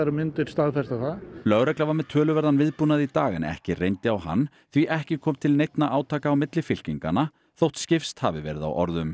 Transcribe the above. myndir staðfesta það lögregla var með töluverðan viðbúnað í dag en ekki reyndi á hann því ekki kom til neinna átaka á milli fylkinganna þótt skipst hafi verið á orðum